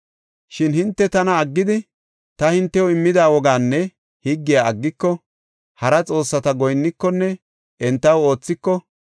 “Shin hinte tana aggidi ta hintew immida wogaanne higgiya aggiko, hara xoossata goyinnikonne entaw oothiko,